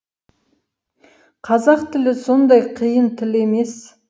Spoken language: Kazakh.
қазақ тілі сондай қиын тіл емес